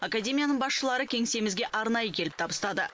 академияның басшылары кеңсемізге арнайы келіп табыстады